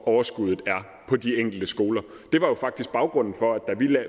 overskuddet er på de enkelte skoler det var jo faktisk baggrunden for at vi